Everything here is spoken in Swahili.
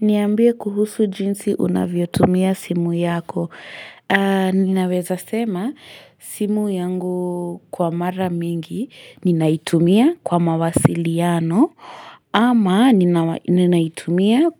Niambie kuhusu jinsi unavyotumia simu yako. Ninaweza sema simu yangu kwa mara mingi ninaitumia kwa mawasiliano ama ninaitumia